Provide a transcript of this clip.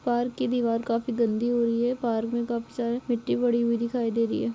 Park की दीवार काफी गन्दी हो रही हैं पार्क में काफी सारी मिट्टी पड़ी हुई दिखाई दे रही हैं।